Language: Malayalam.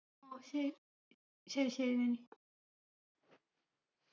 ഓ ശ ശരി ശരി നനി